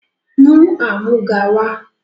Mú amúga wá!